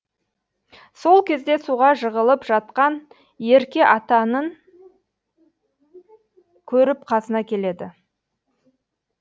сол кезде суға жығылып жатқан ерке атаның көріп қасына келеді